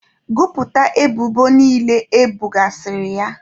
Gụpụta ebubo niile ebogasịrị ya!